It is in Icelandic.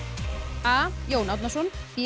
a Jón Árnason b